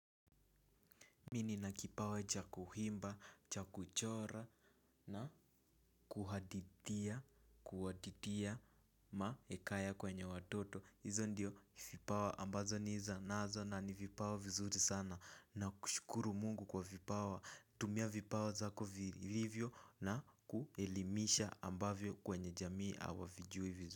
Mi nina kipawa cha kuhimba, cha kuchora na kuhadithia, kuhaditia mahekaya kwenye watoto. Hizo ndiyo vipawa ambazo niza nazo na ni vipawa vizuri sana na kushukuru mungu kwa vipawa. Tumia vipawa zako vilivyo na kuelimisha ambavyo kwenye jamii awavijui vizuri.